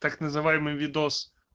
так называемый видос